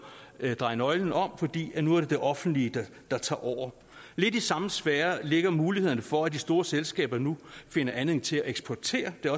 dreje nøglen om fordi det nu er det offentlige der tager over lidt i samme sfære ligger mulighederne for at de store selskaber nu finder anledning til at eksportere det